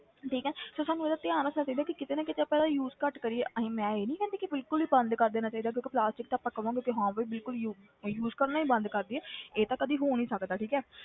ਠੀਕ ਹੈ ਤੇ ਸਾਨੂੰ ਇਹਦਾ ਧਿਆਨ ਰੱਖਣਾ ਚਾਹੀਦਾ ਕਿ ਕਿਤੇ ਨਾ ਕਿਤੇ ਆਪਾਂ ਇਹਦਾ use ਘੱਟ ਕਰੀਏ ਅਸੀਂ ਮੈਂ ਇਹ ਨੀ ਕਹਿੰਦੀ ਕਿ ਬਿਲਕੁਲ ਹੀ ਬੰਦ ਕਰ ਦੇਣਾ ਚਾਹੀਦਾ ਕਿਉਂਕਿ plastic ਤਾਂ ਆਪਾਂ ਕਵਾਂਗੇ ਕਿ ਹਾਂ ਵੀ ਬਿਲਕੁਲ ਯੂ~ use ਕਰਨਾ ਹੀ ਬੰਦ ਕਰ ਦੇਈਏ ਇਹ ਤਾਂ ਕਦੇ ਹੋ ਨੀ ਸਕਦਾ ਠੀਕ ਹੈ,